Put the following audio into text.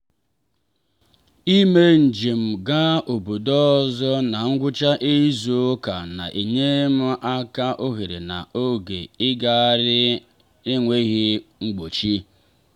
i me njem gaa obodo ozo na ngwucha izu ụka na-enye m ohere na oge ịgagharị n'enwghị mgbochi.